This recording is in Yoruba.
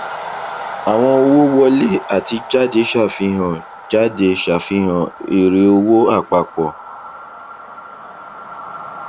àwọn owó wọlé àti jáde ṣàfihàn jáde ṣàfihàn èrè owó àpapọ